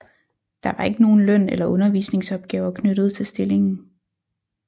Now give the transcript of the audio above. Der var ikke nogen løn eller undervisningsopgaver knyttet til stillingen